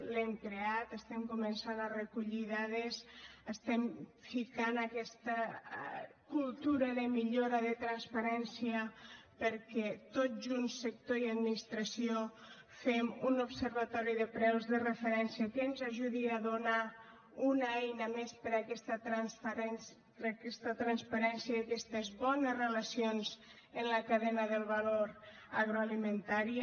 l’hem creat estem començant a recollir dades estem ficant aquesta cultura de millora de transparència perquè tots junts sector i administració fem un observatori de preus de referència que ens ajudi a donar una eina més per a aquesta transparència i aquestes bones relacions en la cadena del valor agroalimentari